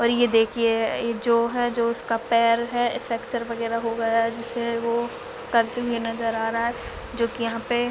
और ये देखिए जो है जो उसका पैर है फेकचर वगैरा हो गया है जिसे वो करते हुए नज़र आ रहा है जो कि यहाँ पे--